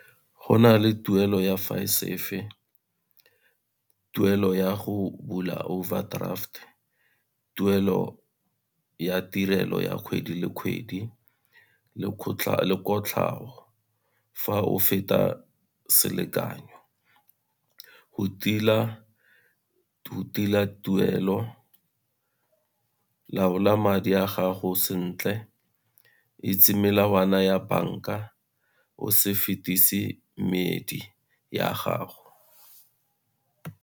Go na le tuelo ya , tuelo ya go bula overdraft, tuelo ya tirelo ya kgwedi le kgwedi le kotlhao. Fa o feta selekanyo, go tila tuelo laola madi a gago sentle, itse melawana ya banka, o se fetisi ya gago.